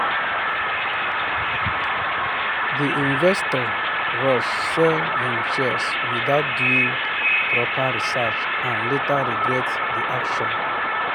the investor rush sell him shares without doing proper research and later regret the action.